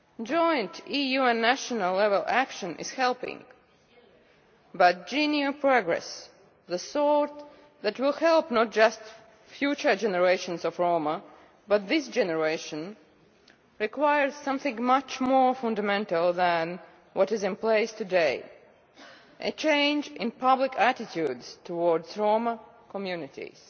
Joint EU and national level action is helping, but genuine progress, the sort that will help not just future generations of Roma but also this generation, requires something much more fundamental than what is in place today a change in public attitudes towards Roma communities.